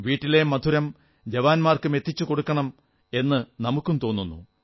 വീട്ടിലെ മധുരം ജവാന്മാർക്കും എത്തിച്ചുകൊടുക്കണം എന്ന് നമുക്കും തോന്നുന്നു